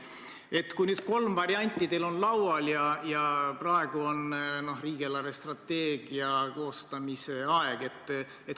Teil on laual kolm varianti ja praegu on riigi eelarvestrateegia koostamise aeg.